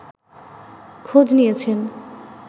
খোঁজ নিয়েছেন